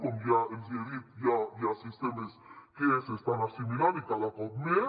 com ja els hi he dit hi ha sistemes que s’hi estan assimilant i cada cop més